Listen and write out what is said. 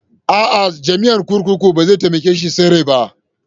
A'a, jami'an kurkukun bai za taimake shi yin tsere ba.